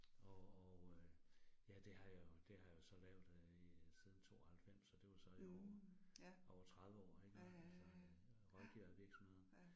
Og og øh ja, det har jeg jo, det har jeg jo så lavet øh i siden 92, så det var så i over over 30 år iggå altså rådgiver virksomheder